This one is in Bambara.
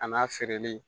A n'a feereli